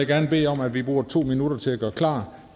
gerne bede om at vi bruger to minutter til at gøre klar